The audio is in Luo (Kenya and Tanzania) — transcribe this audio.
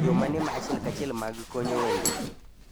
Yoo mane ma achiel ka chiel mag konyo wende